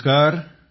नमस्कार सर